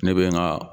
Ne bɛ n ka